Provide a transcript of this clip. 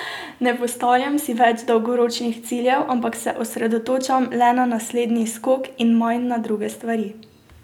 Ne postavljam si več dolgoročnih ciljev, ampak se osredotočam le na naslednji skok in manj na druge stvari.